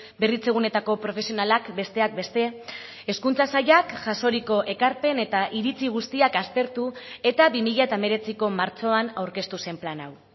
berritzegunetako profesionalak besteak beste hezkuntza sailak jasoriko ekarpen eta iritzi guztiak aztertu eta bi mila hemeretziko martxoan aurkeztu zen plan hau